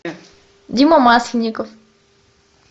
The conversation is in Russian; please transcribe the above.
дима масленников